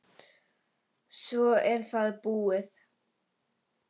Svo er það búið.